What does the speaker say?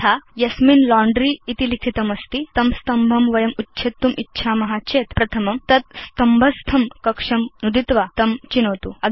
यथा यस्मिन् लाण्ड्री इति लिखितमस्ति तं स्तम्भं वयम् उच्छेत्तुम् इच्छाम चेत् प्रथमं तत् स्तम्भस्थं कक्षं नुदित्वा तं चिनोतु